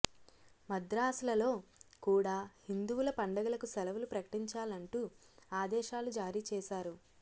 మదర్సాలలో కూడా హిందువుల పండగలకు సెలవులు ప్రకటించాలంటూ ఆదేశాలు జారీ చేశారు